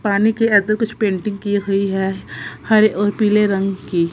पानी की अ दो कुछ पेंटिंग की हुई है हरे और पीले रंग की--